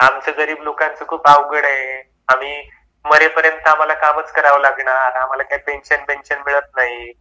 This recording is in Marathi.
आमच्या गरीब लोकांचे खूप अवघड आहे, आम्ही मरेपर्यंत आम्हाला कामच करावे लागणार आम्हाला काय पेन्शन पेन्शन मिळत नाही